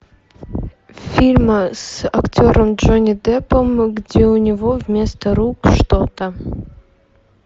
фильм с актером джонни деппом где у него вместо рук что то